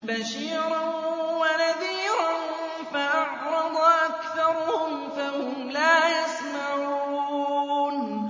بَشِيرًا وَنَذِيرًا فَأَعْرَضَ أَكْثَرُهُمْ فَهُمْ لَا يَسْمَعُونَ